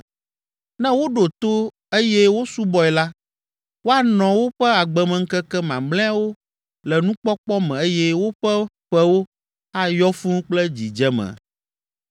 Ne woɖo to eye wosubɔe la, woanɔ woƒe agbemeŋkeke mamlɛawo le nukpɔkpɔ me eye woƒe ƒewo ayɔ fũu kple dzidzeme.